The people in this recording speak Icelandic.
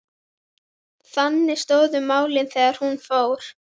Þannig stóðu málin þegar hún fór.